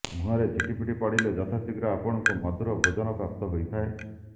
ମୁହଁରେ ଝିଟିପିଟି ପଡ଼ିଲେ ଯଥାଶୀଘ୍ର ଆପଣଙ୍କୁ ମଧୂର ଭୋଜନ ପ୍ରାପ୍ତ ହେଇଥାଏ